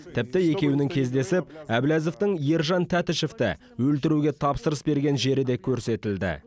тіпті екеуінің кездесіп әблязовтың ержан тәтішевті өлтіруге тапсырыс берген жері де көрсетілді